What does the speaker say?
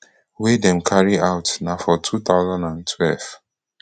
wey dem carry out na for two thousand and twelve